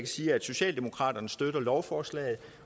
sige at socialdemokraterne støtter lovforslaget